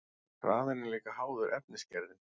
Hraðinn er líka háður efnisgerðinni.